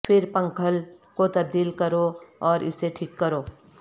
پھر پنکھل کو تبدیل کرو اور اسے ٹھیک کرو